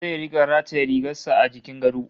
Zai rika rataye rigar sa a jikin gado